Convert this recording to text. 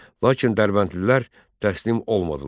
Lakin Dərbəndlilər təslim olmadılar.